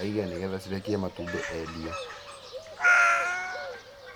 aige nĩgetha cirekie matumbĩ endie.